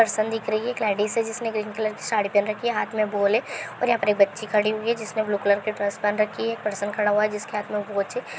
person दिख रही है एक लेडीस है जिसने ग्रीन कलर की साड़ी पहन रखी है हाथ में बॉल है| और यहां पर एक बच्ची खड़ी हुई है जिसने ब्लू कलर की ड्रेस पहन रखी है| एक पर्सन खड़ा हुआ है जिसके हाथ में वो बच्ची--